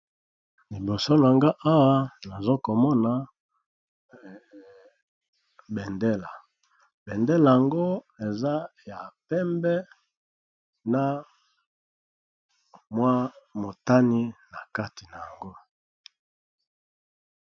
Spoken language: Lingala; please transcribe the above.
Liboso nanga awa nazo komona bendela, bendela yango eza ya pembe na mwa motani na kati na yango.